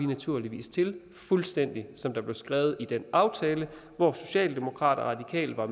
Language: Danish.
naturligvis til fuldstændig som der er blevet skrevet i den aftale hvor socialdemokratiet og